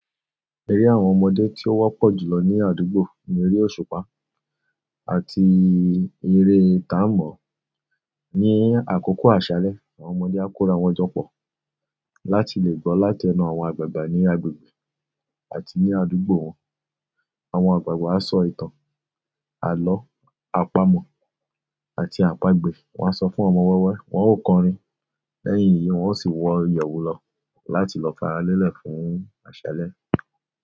Eré àwọn ọmọdé tí ó wọ́pọ̀ jù lọ ní àdúgbò ní eré òṣùpá àti eré tà ń mọ̀-ọ́n. Ní àkókò àṣálẹ́, àwọn ọmọdé á kóra wọn jọ pọ̀ láti lè gbọ́ láti ẹnu àwọn àgbààgbà ní agbègbè àti ní àdúgbò wọn. Àwọn àgbààgbà á sọ ìtàn, àlọ́ àpamọ̀ àti àpagbè. Wọn á sọ fún àwọn ọmọ wẹ́wẹ́, wọn óò kọrin. Lẹ́yìn èyí, wọn óó sì wọ ìyẹ̀wù lọ láti lọ fara lẹ́lẹ̀ fún àṣálẹ́.